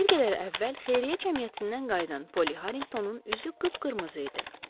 Bir qədər əvvəl xeyriyyə cəmiyyətindən qayıdan Poli Harinqtonun üzü qıpqırmızı idi.